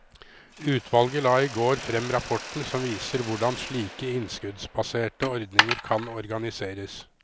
Utvalget la i går frem rapporten som viser hvordan slike innskuddsbaserte ordninger kan organiseres.